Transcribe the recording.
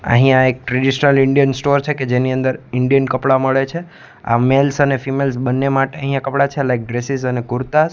અહીંયા એક traditional Indian store છે કે જેની અંદર ઇન્ડિયન કપડા મળે છે આ મેલ્સ અને ફીમેલ્સ બન્ને માટે અહીંયા કપડા છે લાઈક ડ્રેસીસ અને કુર્તાસ.